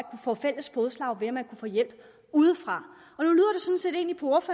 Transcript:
få fælles fodslag ved at man kunne få hjælp udefra